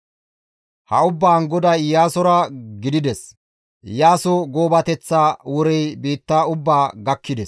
Ha ubbaan GODAY Iyaasora gidides; Iyaaso goobateththa worey biitta ubbaa gakkides.